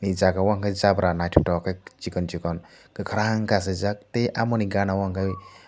aii jaago o enkke jabra nythoktoke chikon chikon kakrang ke asai jaak tai omo ni gaana o enkke--